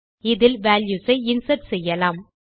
இதில் வால்யூஸ் ஐ இன்சர்ட் செய்யலாம்